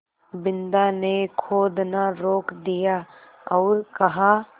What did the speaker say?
बिन्दा ने खोदना रोक दिया और कहा